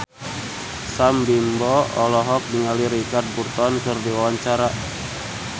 Sam Bimbo olohok ningali Richard Burton keur diwawancara